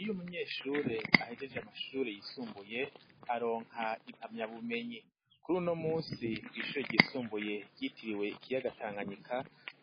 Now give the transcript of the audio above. Iyo umunyeshure ahejeje amashure yisumbuye aronka impamya bumenyi kuri uno munsi kw'ishure ryisumbuye ryitiriwe ikiyaga tanganyika